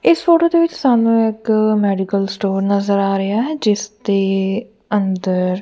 ਇਸ ਫੋਟੋ ਦੇ ਵਿੱਚ ਸਾਨੂੰ ਇੱਕ ਮੈਡੀਕਲ ਸਟੋਰ ਨਜ਼ਰ ਆ ਰਿਹਾ ਹੈ ਜਿੱਸ ਦੇ ਅੰਦਰ --